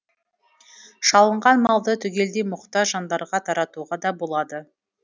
шалынған малды түгелдей мұқтаж жандарға таратуға да болады